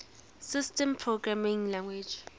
systems programming languages